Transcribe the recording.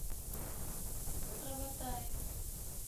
граватаи